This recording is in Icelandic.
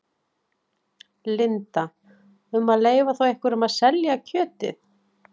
Linda: Um að leyfa þá einhverjum að selja kjötið?